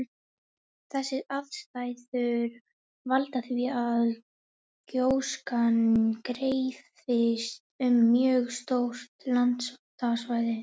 Þessar aðstæður valda því að gjóskan dreifist um mjög stórt landsvæði.